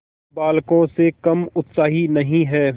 बालकों से कम उत्साही नहीं है